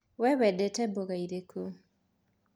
Wee wendete mboga irĩkũ?